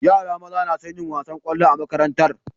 Yara maza nason yin wasan kwallo a makarantar